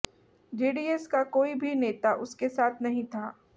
JDS का कोई भी नेता उनके साथ नहीं था